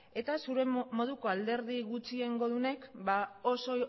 eta zure moduko alderdi gutxiengodunek oso